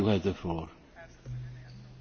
Herr Präsident, sehr geehrte Kollegen!